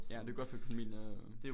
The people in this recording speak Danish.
Ja men det jo godt for økonomien øh